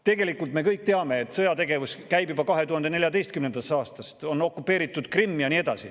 Tegelikult me kõik teame, et sõjategevus käib juba 2014. aastast, on okupeeritud Krimm ja nii edasi.